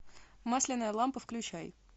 масляная лампа включай